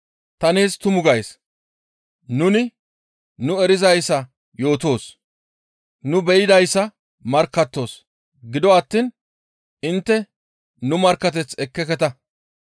Ta nees tumu gays; nuni nu erizayssa yootoos. Nu be7idayssa markkattoos; gido attiin intte nu markkateth ekkeketa.